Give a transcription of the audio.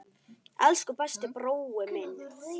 Elsku besti brói minn.